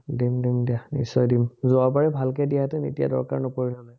দিম দিম দিয়া, নিশ্চয় দিম। যোৱাবাৰ ভালকে দিয়াহেতেন এতিয়া দৰকাৰ নপৰে নহয়।